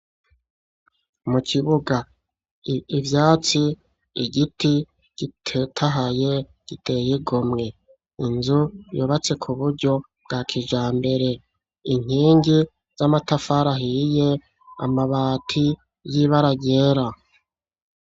Mu kibuga, ivyatsi, igiti gitetahaye giteye igomwe, inzu yubatse kuburyo bwa kijambere, inkingi z'amatafari ahiye, amabati y'ibara ryera.